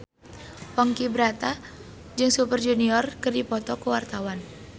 Ponky Brata jeung Super Junior keur dipoto ku wartawan